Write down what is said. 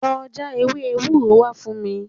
Lọ já ewé ewúro wá fún mi